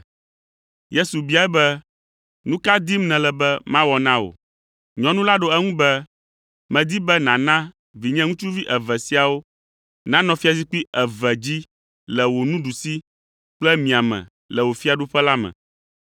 Yesu biae be, “Nu ka dim nèle be mawɔ na wò?” Nyɔnu la ɖo eŋu be, “Medi be nàna be vinye ŋutsuvi eve siawo nanɔ fiazikpui eve dzi le wò ɖusi kple mia me le wò fiaɖuƒe la me.”